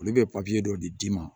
Olu bɛ dɔ de d'i ma